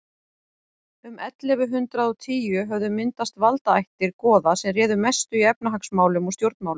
um ellefu hundrað og tíu höfðu myndast valdaættir goða sem réðu mestu í efnahagsmálum og stjórnmálum